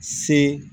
Se